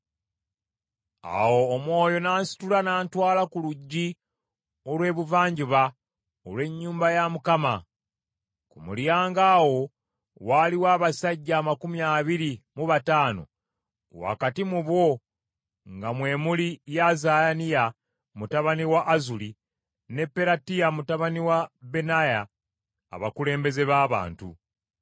Awo Omwoyo n’ansitula n’antwala ku luggi olw’ebuvanjuba olw’ennyumba ya Mukama . Ku mulyango awo waaliwo abasajja amakumi abiri mu bataano wakati mu bo nga mwe muli Yaazaniya mutabani wa Azuli ne Peratiya mutabani wa Benaya, abakulembeze b’abantu.